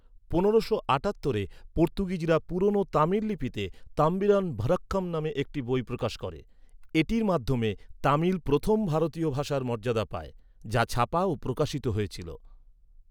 পনেরোশো আটাত্তরে পর্তুগিজরা পুরনো তামিল লিপিতে ‘তম্বিরান ভনকখম’ নামে একটি বই প্রকাশ করে। এটির মাধ্যমে তামিল প্রথম ভারতীয় ভাষার মর্যাদা পায়, যা ছাপা ও প্রকাশিত হয়েছিল।